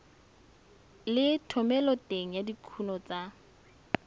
le thomeloteng ya dikuno tsa